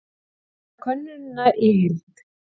Sjá könnunina í heild